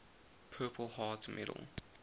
purple heart medal